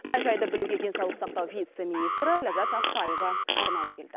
мән жайды білуге денсаулық сақтау вице министрі ләззат ақтаева арнайы келді